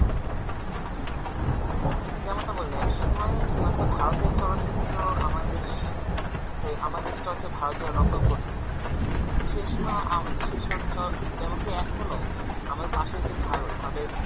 যেমনটা বললে একসময় হয়তো ভারতের চলচিত্র আমাদের দেশ আমদের দেশ চলচিত্র ভারতীয়রা নকল করতো সেসময় আম~ সেসব চলচিত্র যেমন কী এখনও আমাদের পাশে যে ভারত তাদের